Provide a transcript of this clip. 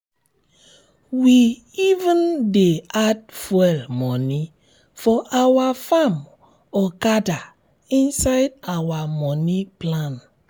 we even dey add fuel moni for our farm okada inside our moni plan.